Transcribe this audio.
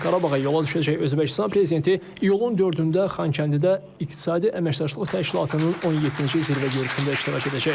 Sabah Qarabağa yola düşəcək Özbəkistan Prezidenti iyulun 4-də Xankəndidə İqtisadi Əməkdaşlıq Təşkilatının 17-ci zirvə görüşündə iştirak edəcək.